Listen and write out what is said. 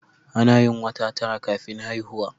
Anayin wata tara kafin haihuwa